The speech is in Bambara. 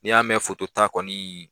N'i y'a mɛn fotota kɔni